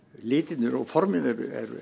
litirnir og formin eru